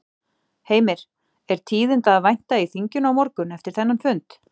Heimir: Er tíðinda að vænta í þinginu á morgun eftir þennan fund?